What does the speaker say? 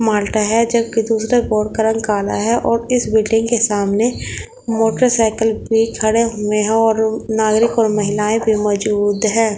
मालटा है जबकि दूसरे बोर्ड का रंग काला है और इस बिल्डिंग के सामने मोटरसाइकिल भी खड़े हुए हैं और नागरिक और महिलाएं भी मौजूद हैं।